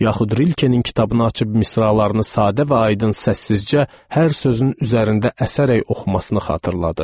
Yaxud Rilkenin kitabını açıb misralarını sadə və aydın səssizcə hər sözün üzərində əsərək oxumasını xatırladım.